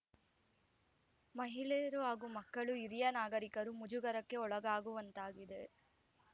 ಮಹಿಳೆಯರು ಹಾಗೂ ಮಕ್ಕಳು ಹಿರಿಯ ನಾಗರೀಕರು ಮುಜುಗರಕ್ಕೆ ಒಳಗಾಗುವಂತಾಗಿದೆ